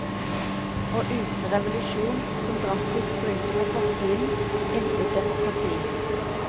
Og uten revolusjon som drastisk bryter med fortiden, intet demokrati.